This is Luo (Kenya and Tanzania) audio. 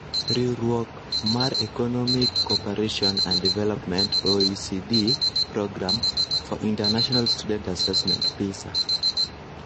Riuruok mar Economic Cooperation and Development's (OECD)Programme for International Student Assement (PISA)